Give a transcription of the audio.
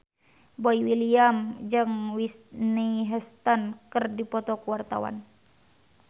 Boy William jeung Whitney Houston keur dipoto ku wartawan